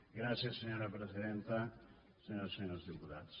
gràcies senyora presidenta senyores i senyors diputats